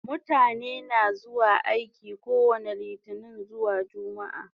Mutane na zuwa aiki kowani litinin zuwa jumaa